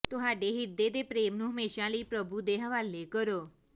ਤੁਹਾਡੇ ਹਿਰਦੇ ਦੇ ਪ੍ਰੇਮ ਨੂੰ ਹਮੇਸ਼ਾ ਲਈ ਪ੍ਰਭੂ ਦੇ ਹਵਾਲੇ ਕਰੋ